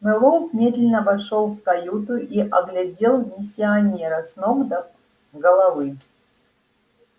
мэллоу медленно вошёл в каюту и оглядел миссионера с ног до головы